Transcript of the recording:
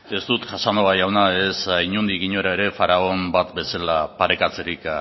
ez dut casanova jauna ez inondik inora ere faraoi bat bezala parekatzerik